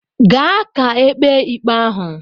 Gaa ka ekpe ikpe ahụ!